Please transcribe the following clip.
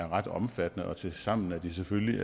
ret omfattende og tilsammen er de selvfølgelig